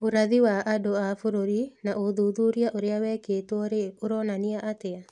Ũrathi wa andũ a bũrũri na ũthuthuria ũrĩa wĩkĩtwo-rĩ, ũronania atĩa?